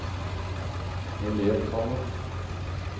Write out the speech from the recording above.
elevtallet